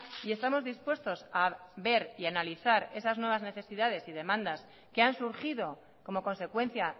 y estamos dispuestos a ver y a analizar esas nuevas necesidades y demandas que han surgido como consecuencia